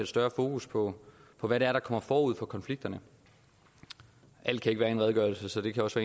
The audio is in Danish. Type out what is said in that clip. større fokus på på hvad der kommer forud for konflikterne alt kan ikke være i en redegørelse så det kan også